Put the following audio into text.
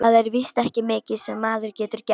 Það er víst ekki mikið sem maður getur gert.